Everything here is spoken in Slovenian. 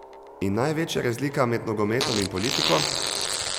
In največja razlika med nogometom in politiko?